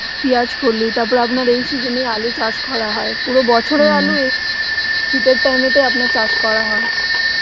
পেঁয়াজকলি তারপরে আপনার এই season এ আলু চাষ করা হয়, পুরো বছরের শীত এর time এ তেই আপনার চাষ করা হয়